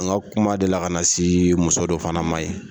N ka kuma delila ka na se muso dɔ fana ma yen